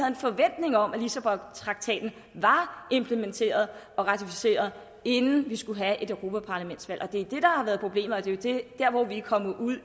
en forventning om at lissabontraktaten var implementeret og ratificeret inden vi skulle have et europaparlamentsvalg det er det har været problemet og det er derfor vi er kommet ud